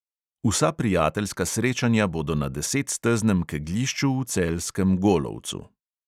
Vsa prijateljska srečanja bodo na desetsteznem kegljišču v celjskem golovcu.